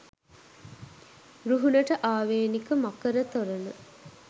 රුහුණට ආවේනික මකර තොරණ